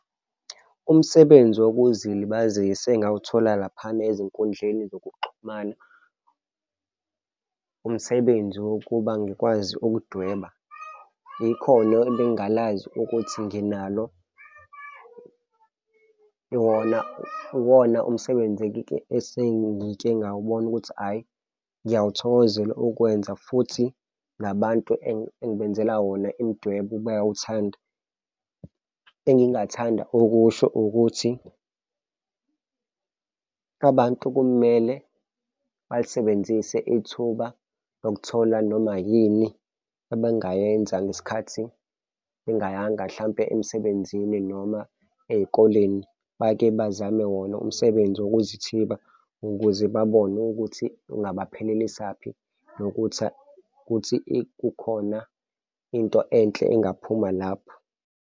Umsebenzi wokuzilibazisa engawuthola laphana ezinkundleni zokuxhumana umsebenzi wokuba ngikwazi ukudweba ikhono ebengingalazi ukuthi nginalo yona, uwona umsebenzi esengike ngawubona ukuthi, hhayi, ngiyawuthokozela ukwenza futhi nabantu engibenzela wona imidwebo bayawuthanda. Engingathanda okusho ukuthi abantu kumele balisebenzise ithuba nokuthola noma yini abangayenza ngesikhathi bengayanga mhlampe emsebenzini noma ey'koleni, bake bazame wona umsebenzi wokuzithiba ukuze babone ukuthi kungabaphelelisaphi nokuthi ukuthi kukhona into enhle engaphuma lapho.